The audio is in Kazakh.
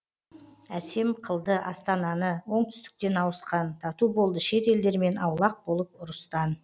әсем қылды астананы оңтүстіктен ауысқан тату болды шет елдермен аулақ болып ұрыстан